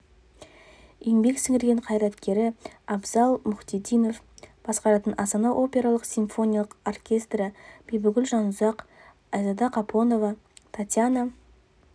еңбек сіңірген қайраткері абзал мұхитдинов басқаратын астана опера симфониялық оркестрі бибігүл жанұзақ айзада қапонова татьяна